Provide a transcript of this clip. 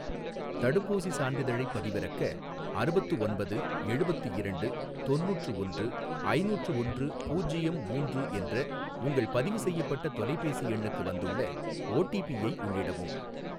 தடுப்பூசி சான்றிதழைப் பதிவிறக்க அறுபத்து ஒன்பது எழுபத்து இரண்டு தொண்ணூற்று ஒன்று ஐநூற்று ஒன்று பூஜ்யம் மூன்று என்ற உங்கள் பதிவு செய்யப்பட்ட தொலைபேசி எண்ணுக்கு வந்துள்ள ஓடிபிஐ உள்ளிடவும்.